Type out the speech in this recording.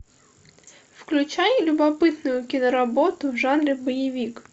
включай любопытную киноработу в жанре боевик